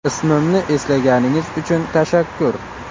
Ismimni eslaganingiz uchun tashakkur.